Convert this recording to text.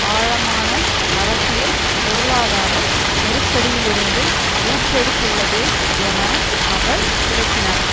ஆழமான அரசியல் பொருளாதார நெருக்கடியிலுருந்து ஊற்றெடுத்துள்ளது என அவர் விளக்கினார்